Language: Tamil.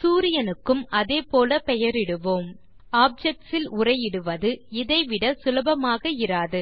சூரியனுக்கும் அதே போல பெயரிடுவோம் ஆப்ஜெக்ட்ஸ் இல் உரை இடுவது இதை விட சுலபமாக இராது